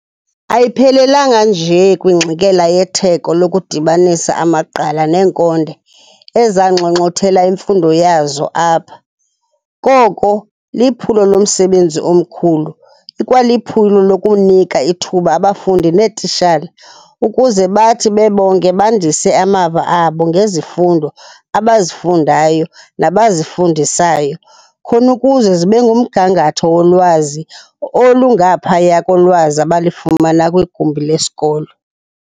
Ayiphelelanga nje kwingxikela yetheko lokudibanisa amaqgala neenkonde ezanxonxothela imfundo yazo apha, koko liphulo lomsebenzi omkhulu, ikwaliphulo lokunika ithuba abafundi neetitshala ukuze bathi bebonke bandise amava abo ngezifundo abazifundayo nabazifundisayo, khon'ukuze zibengumgangatho wolwazi olungaphaya kolwazi abalifumana kwigumbi lesikolo.